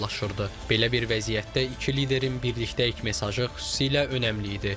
Belə bir vəziyyətdə iki liderin "Birlikdəyik" mesajı xüsusilə önəmli idi.